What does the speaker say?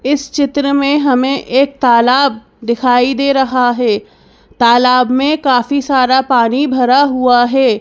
इस चित्र में हमें एक तालाब दिखाई दे रहा है तालाब में काफी सारा पानी भरा हुआ है।